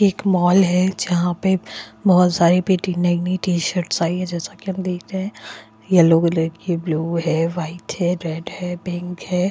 ये एक मॉल है जहाँ पे बहोत सारी पेटी नई-नई टी शर्ट्स आई हैं जैसा की हम देख रहे हैं येलो कलर की है ब्लू है वाइट है रेड है पिंक --